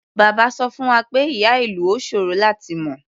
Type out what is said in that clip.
Bàbá sọ fún wa pé ìyá-ìlù ò ṣòro láti mọ.